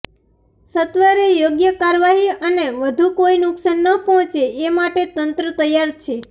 સત્વરે યોગ્ય કાર્યવાહી અને વધુ કોઈ નુકશાન ન પહોંચે એ માટે તંત્ર તૈયાર છે